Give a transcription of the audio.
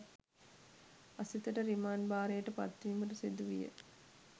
අසිතට remand භාරයට පත්වීමට සිදුවිය